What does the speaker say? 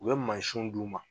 U ye mansinw d u ma.